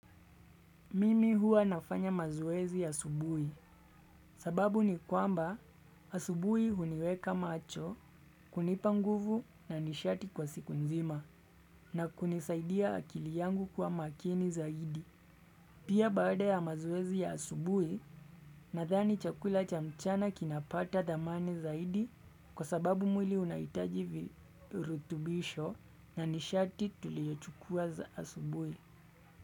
Mimi hua nafanya mazoezi asubui sababu ni kwamba asubui uniweka macho kunipa nguvu na nishati kwa siku nzima na kunisaidia akili yangu kua makini zaidi. Pia baada ya mazoezi ya asubui nathani chakula cha mchana kinapata dhamani zaidi kwa sababu mwili unaitaji virutubisho na nishati tuliochukua za asubui.